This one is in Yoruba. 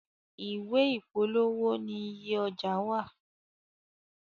Ìwé ìpolówó ní ìyè owó ọjà wá.